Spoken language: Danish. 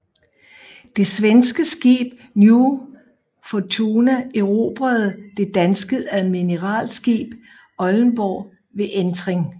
Det svenske skib New Fortuna erobrede det danske admiralskib Oldenborg ved entring